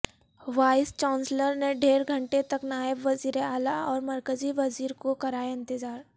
voice chancellor نے ڈیڑھ گھنٹے تک نائب وزیر اعلی اور مرکزی وزیر کو کرایا انتظار